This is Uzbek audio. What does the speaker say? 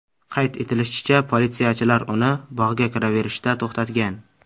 Qayd etilishicha, politsiyachilar uni bog‘ga kiraverishda to‘xtatgan.